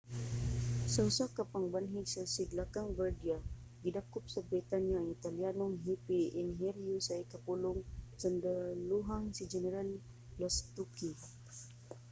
sa usa ka pagbanhig sa sidlakang bardia gidakop sa britanya ang italyanong hepe-enhinyero sa ikapulong kasundalohang si general lastucci